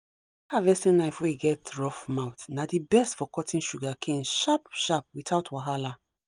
that harvesting knife wey get rough mouth na the best for cutting sugarcane sharp sharp without wahala.